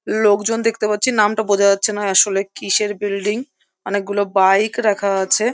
লোকজন দেখতে পাচ্ছি নামটা বোঝা যাচ্ছে না আসলে কিসের বিল্ডিং অনেকগুলো বাইক রাখা আছে।